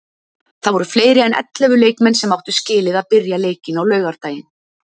Það voru fleiri en ellefu leikmenn sem áttu skilið að byrja leikinn á laugardaginn.